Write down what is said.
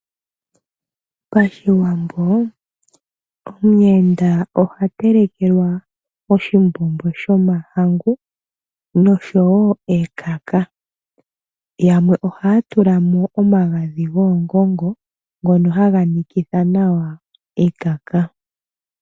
Pashiwambo omuyenda oha telekelwa oshimbombo shomahangu, noshowo ekaka. Yamwe ohaya tulamo omagadhi goongongo, ngono haga nikitha nawa ekaka.